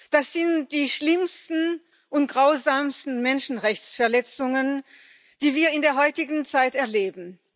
Das sind die schlimmsten und grausamsten Menschenrechtsverletzungen, die wir in der heutigen Zeit erleben.